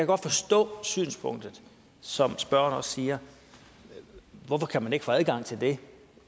godt forstå synspunktet som spørgeren også siger hvorfor kan man ikke få adgang til det